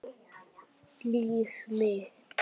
Líf mitt.